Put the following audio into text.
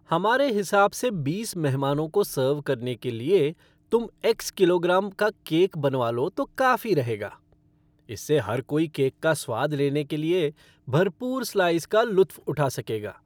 हमारे हिसाब से बीस मेहमानों को सर्व करने के लिए, तुम एक्स किलोग्राम का केक बनवा लो तो काफ़ी रहेगा। इससे हर कोई केक का स्वाद लेने के लिए भरपूर स्लाइस का लुत्फ़ उठा सकेगा।